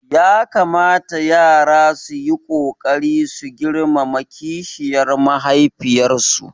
Ya kamata yara su yi ƙoƙari su girmama kishiyar mahaifiyarsu